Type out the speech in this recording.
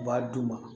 U b'a d'u ma